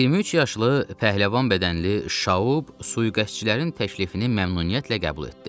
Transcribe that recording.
23 yaşlı pəhləvan bədənli Şaoub sui-qəsdçilərin təklifini məmnuniyyətlə qəbul etdi.